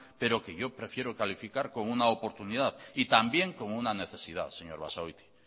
pero que yo prefiero calificar como una oportunidad y también como una necesidad señor basagoiti